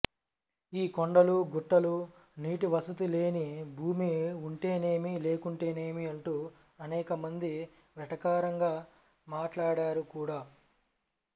ఈ కొండలు గుట్టలూ నీటివసతిలేని భూమి ఉంటేనేమి లేకుంటేనేమి అంటూ అనేకమంది వెటకారంగా మాట్లాడారు కూడా